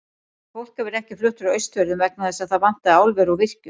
En fólk hefur ekki flutt frá Austfjörðum vegna þess að þar vantaði álver og virkjun.